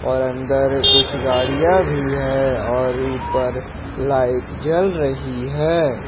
और अंदर कुछ गाड़ियां भी है और ऊपर लाइट जल रही है।